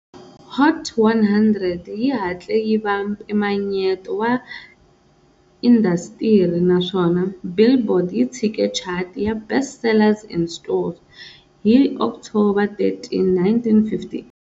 Hot 100 yi hatle yi va mpimanyeto wa indasitiri naswona"Billboard" yi tshike chati ya"Best Sellers In Stores" hi October 13, 1958.